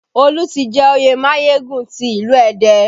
Olu tí jẹ òye Mayegun ti ilu Ẹdẹ